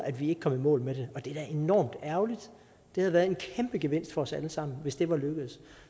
at vi ikke kom i mål med det og det er da enormt ærgerligt det havde været en kæmpe gevinst for os alle sammen hvis det var lykkedes